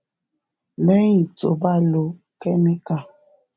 léyìn tó o bá ti lo kémíkà